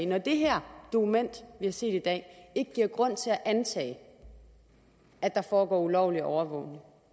når det her dokument vi har set i dag ikke giver grund til at antage at der foregår ulovlig overvågning og